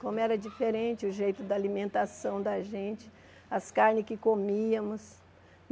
Como era diferente o jeito da alimentação da gente, as carnes que comíamos.